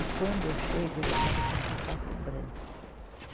E quando eu chego, ele estava com um sapato branco.